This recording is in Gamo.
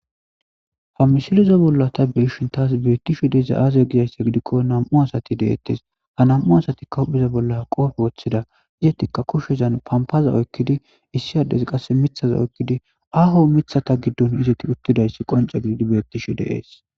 Ha miseleza bola ta be'ashe de'ishin tas beetizay aaze giiko nam'u asati deetes.ha nam'u asatika hupheza bola qoobe wothida izzetika kushezan pampaza oykidi issi adezi qasse mithaza oykidi aaho mithaza gidon izzeti utidaysi qoncce gididi beetishe de'es.